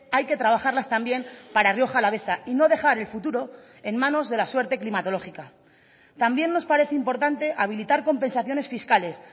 hay que trabajarlas también para rioja alavesa y no dejar el futuro en manos de la suerte climatológica también nos parece importante habilitar compensaciones fiscales